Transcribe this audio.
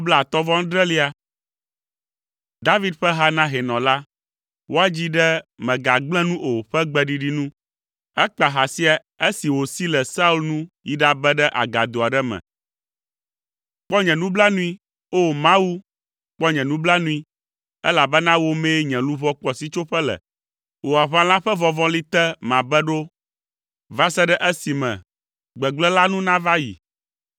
David ƒe ha na hɛnɔ la. Woadzii ɖe “Mègagblẽ nu o” ƒe gbeɖiɖi nu. Ekpa ha sia esi wòsi le Saul nu yi ɖabe ɖe agado aɖe me. Kpɔ nye nublanui, O! Mawu, kpɔ nye nublanui, elabena wò mee nye luʋɔ kpɔ sitsoƒe le. Wò aʋala ƒe vɔvɔli te mabe ɖo va se ɖe esime gbegblẽ la nu nava yi.